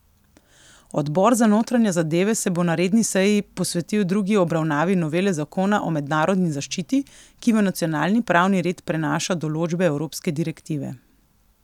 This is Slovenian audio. Odbor za notranje zadeve se bo na redni seji posvetil drugi obravnavi novele zakona o mednarodni zaščiti, ki v nacionalni pravni red prenaša določbe evropske direktive.